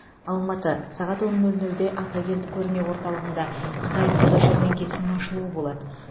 алматы сағат он нөл нөлде атакент көрме орталығында қытай сауда жәрмеңкесінің ашылуы болады